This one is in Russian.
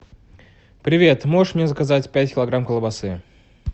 привет можешь мне заказать пять килограмм колбасы